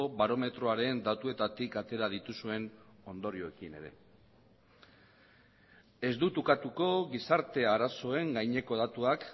barometroaren datuetatik atera dituzuen ondorioekin ere ez dut ukatuko gizarte arazoen gaineko datuak